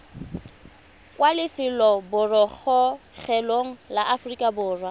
kwa lefelobogorogelong la aforika borwa